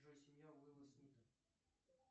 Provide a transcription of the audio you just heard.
джой семья уилла смита